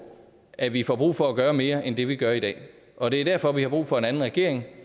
at vi får brug for at gøre mere end det vi gør i dag og det er derfor vi har brug for en anden regering